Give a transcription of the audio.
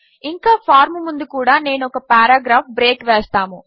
ఇంకా ఫార్మ్ ముందు కూడా నేను ఒక పారాగ్రాఫ్ బ్రేక్ వేస్తాము